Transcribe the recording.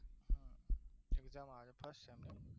exam આવે first sem ની